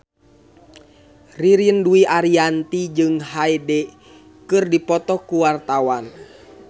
Ririn Dwi Ariyanti jeung Hyde keur dipoto ku wartawan